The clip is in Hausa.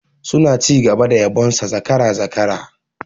Suna ci gaba da yabon sa zakara, zakara